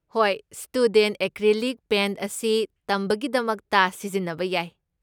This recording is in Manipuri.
ꯍꯣꯏ, ꯁ꯭ꯇꯨꯗꯦꯟꯠ ꯑꯦꯀ꯭ꯔꯤꯂꯤꯛ ꯄꯦꯟꯠ ꯑꯁꯤ ꯇꯝꯕꯒꯤꯗꯃꯛꯇ ꯁꯤꯖꯤꯟꯅꯕ ꯌꯥꯏ꯫